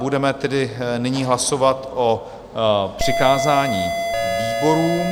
Budeme tedy nyní hlasovat o přikázání výborům.